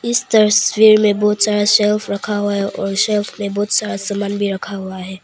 इस तस्वीर में बहुत सारा शेल्व्स रखा हुआ है और शेल्व्स में बहुत सारा सामान भी रखा हुआ है।